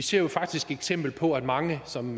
ser jo faktisk eksempler på mange som